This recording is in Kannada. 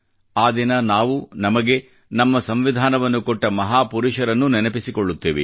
ಆ ದಿನ ನಾವು ನಮಗೆ ನಮ್ಮ ಸಂವಿಧಾನವನ್ನು ಕೊಟ್ಟ ಮಹಾ ಪುರುಷರನ್ನು ನೆನಪಿಸಿಕೊಳ್ಳುತ್ತೇವೆ